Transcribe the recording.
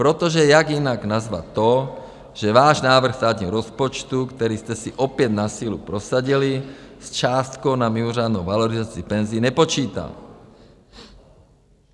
Protože jak jinak nazvat to, že váš návrh státního rozpočtu, který jste si opět na sílu prosadili, s částkou na mimořádnou valorizaci penzí nepočítá?